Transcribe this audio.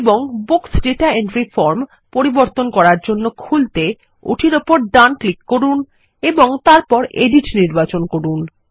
এবং বুকস দাতা entry form পরিবর্তন করারজন্য খুলতে ওটির উপর ডান ক্লিক করুন এবং তারপর এডিট নির্বাচন করুন